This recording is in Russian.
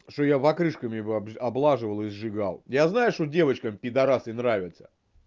что я покрышками облаживал и сжигал я знаю что девочкам пидорасы нравятся